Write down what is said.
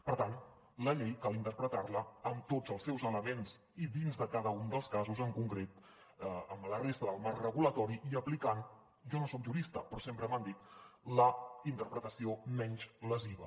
per tant la llei cal interpretar la amb tots els seus elements i dins de cada un dels casos en concret amb la resta del marc regulador i aplicant jo no soc jurista però sempre m’ho han dit la interpretació menys lesiva